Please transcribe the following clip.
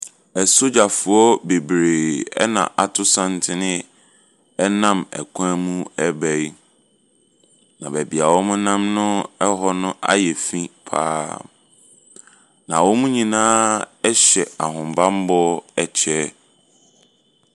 Ɛsogyafoɔ bebree ɛna ato santen ɛnam kwan mu reba yi. Na baabi a wɔnam no ayɛ finn paa. Na wɔn nyinaa hyɛ ahobanbɔ kyɛ.